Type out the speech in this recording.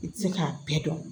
I tɛ se k'a bɛɛ dɔn